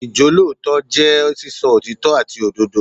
Ìjólótòótọ́ jẹ́ sísọ òtítọ́ àti òdodo.